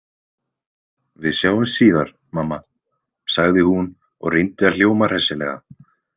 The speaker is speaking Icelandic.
Við sjáumst síðar, mamma, sagði hún og reyndi að hljóma hressilega.